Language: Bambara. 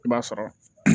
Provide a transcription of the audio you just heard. I b'a sɔrɔ